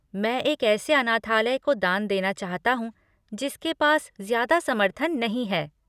मैं एक ऐसे अनाथालय को दान देना चाहता हूँ जिसके पास ज्यादा समर्थन नहीं है।